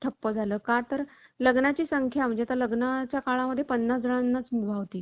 ठप्प झालं का तर लग्नाची संख्या म्हणजे लग्नाच्या काळामध्ये पन्नास जणांनाच मुभा होती.